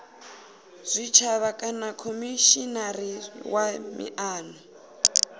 tshitshavha kana khomishinari wa miano